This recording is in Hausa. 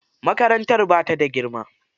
Makarantar ba ta da girma.